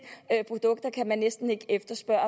produkter kan man næsten ikke efterspørge